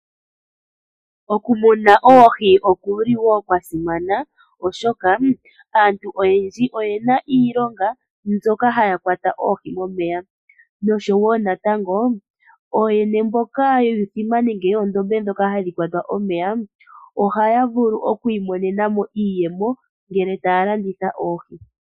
Okumuna oohi okuli wo kwa simana, oshoka aantu oyendji oyena iilonga mbyoka haya kwata oohi momeya noshowo natango ooyene mboka yuundombe nenge yuuthima ndhoka hadhi kwatwa omeya ohaya vulu okwiimonena mo iiyemo ngele taya landitha oohi.